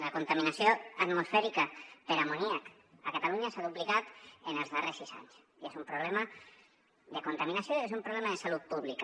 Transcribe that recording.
la contaminació atmosfèrica per amoníac a catalunya s’ha duplicat en els darrers sis anys i és un problema de contaminació i és un problema de salut pública